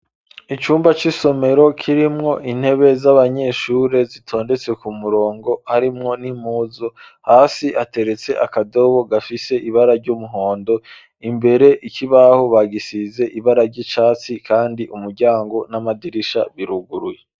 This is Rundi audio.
Icumba c'isomero kirimwo intebe z'abanyeshure zitondetse ku murongo arimwo nimuzo hasi ateretse akadobo gafise ibara ry'umuhondo imbere ikibaho bagisize ibara ry'icatsi, kandi umuryango n'amadirisha biruguruye.